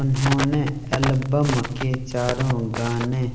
उन्होंने एल्बम के चार गाने